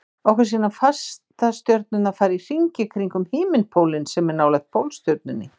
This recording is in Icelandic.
okkur sýnast fastastjörnurnar fara í hringi kringum himinpólinn sem er nálægt pólstjörnunni